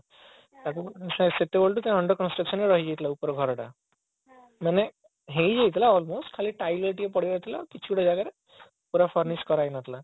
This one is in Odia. ତାକୁ ସେତେବେଳୁ under construction ରେ ରାହିଯାଇଥିଲା ଉପର ଘରଟା ମାନେ ହେଇଯାଇଥିଲା almost ଖାଲି tiles ଗୁଡା ପଡିବାର ଥିଲା କିଛି ଗୁରା ଜାଗାରେ ପୁରା finish କରାଯାଇନଥିଲା